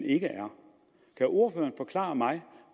ikke er kan ordføreren forklare mig